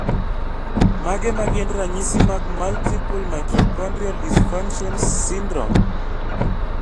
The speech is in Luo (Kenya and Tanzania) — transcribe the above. Mage magin ranyisi mag Multiple mitochondrial dysfunctions syndrome?